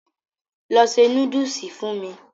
Lọ se núdùsù fún mu.